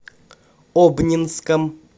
обнинском